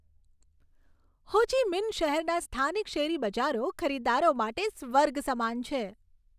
હો Chi Minh શહેરના સ્થાનિક શેરી બજારો ખરીદદારો માટે સ્વર્ગ સમાન છે.